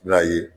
I b'a ye